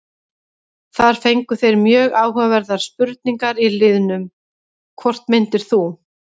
Þar fengu þeir mjög áhugaverðar spurningar í liðnum: Hvort myndir þú?